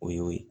O y'o ye